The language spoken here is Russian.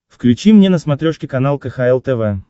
включи мне на смотрешке канал кхл тв